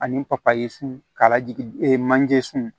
Ani papaye sun k'a lajigi ee manje sun